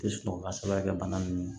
Tɛ sɔn ka sababuya kɛ bana nunnu ye